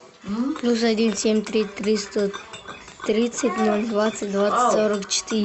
плюс один семь три триста тридцать ноль двадцать двадцать сорок четыре